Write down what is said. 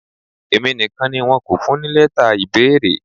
Èmi nìkan ni wọn kò fún ní lẹ́tà ìbéèrè.